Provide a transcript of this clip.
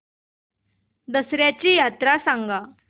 दसर्याची यात्रा सांगा